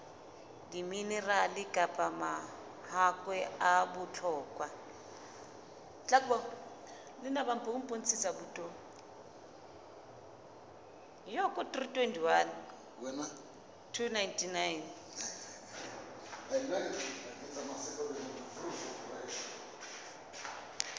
diminerale kapa mahakwe a bohlokwa